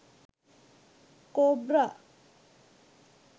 cobra